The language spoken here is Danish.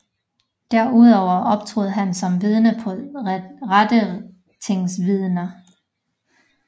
Derudover optrådte han som vidne på rettertingsvidner